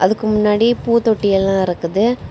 அதுக்கு முன்னாடி பூ தொட்டி எல்லா இருக்குது.